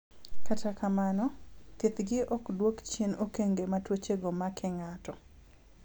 kata kamano, thieth gi ok duok chien okenge ma tuoche go make ng'ato